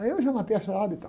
Aí eu já matei a charada e tal.